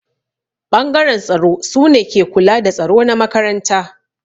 Ɓangaren tsaro sune ke kula da tsaro na makaranta.